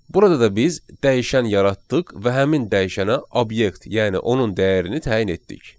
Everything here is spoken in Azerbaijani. Burada da biz dəyişən yaratdıq və həmin dəyişənə obyekt, yəni onun dəyərini təyin etdik.